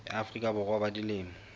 ya afrika borwa ba dilemo